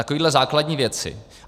Takové základní věci.